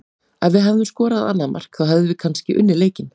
Ef við hefðum skorað annað mark þá hefðum við kannski unnið leikinn.